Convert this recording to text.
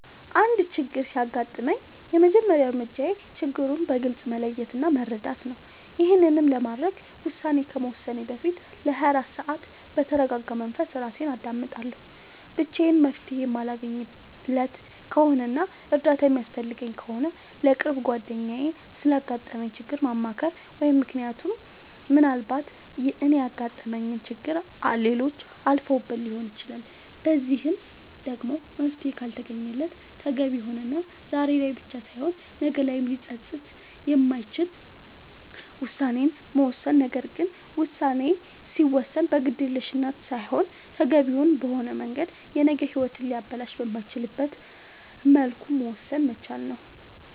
አንድ ችግር ሲያጋጥመኝ የመጀመሪያ እርምጃዬ ችግሩን በግልፅ መለየት እና መረዳት ነዉ ይሄንንም ለማድረግ ውሳኔ ከመወሰኔ በፊት ለ24 ሰዓት በተርጋጋ መንፈስ እራሴን አዳምጣለሁ ብቻዬን መፍትሄ የማለገኝለት ከሆነና እርዳታ የሚያስፈልገኝ ከሆነ ለቅርብ ጓደኛዬ ስላጋጠመኝ ችግር ማማከር ምክንያቱም ምናልባት እኔ ያጋጠመኝን ችግር ሌሎች አልፈውበት ሊሆን ይችላል በዚህም ደግሞ መፍትሄ ካልተገኘለት ተገቢ የሆነና ዛሬ ላይ ብቻ ሳይሆን ነገ ላይም ሊፀፅት የማይችል ውሳኔን መወሰን ነገር ግን ውሳኔ ሲወሰን በግዴለሽነት ሳይሆን ተገቢውን በሆነ መንገድ የነገ ሂወትን ሊያበላሽ በማይችልበት መልኩ መወሰን መቻል ነዉ